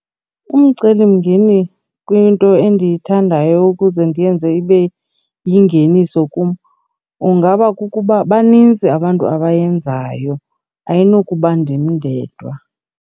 Umcelimngeni kwinto endiyithandayo ukuze ndiyenze ibe yingeniso kum ungaba kukuba banintsi abantu abayenzayo, ayinokuba ndim ndedwa.